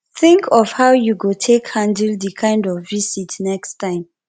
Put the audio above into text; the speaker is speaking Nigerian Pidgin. think of how you go take handle di kind of visit next time